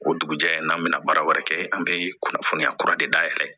O dugujɛ n'an bɛna baara wɛrɛ kɛ an bɛ kunnafoniya kura de dayɛlɛ